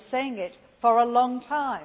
I have been saying it for a long time.